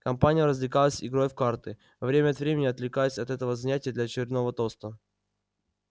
компания развлекалась игрой в карты время от времени отвлекаясь от этого занятия для очередного тоста